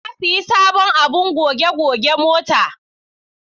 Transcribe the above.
Na sayi sabon abin goge goge mota.